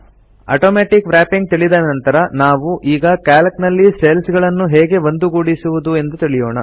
automatic wrapping ತಿಳಿದ ನಂತರ ನಾವು ಈಗ ಕ್ಯಾಲ್ಕ್ ನಲ್ಲಿ ಸೆಲ್ಸ್ ಗಳನ್ನು ಹೇಗೆ ಒಂದುಗೂಡಿಸುವುದು ಮರ್ಜ್ ಎಂದು ತಿಳಿಯೋಣ